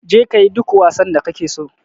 Je ka kayi duk wasan da kake so